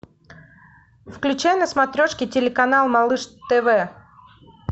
включай на смотрешке телеканал малыш тв